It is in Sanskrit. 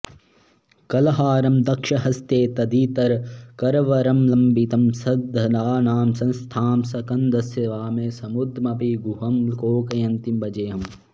कल्हारं दक्षहस्ते तदितरकरवरं लम्बितं सन्दधानां संस्थां स्कन्दस्य वामे समुदमपि गुहं लोकयन्तीं भजेऽहम्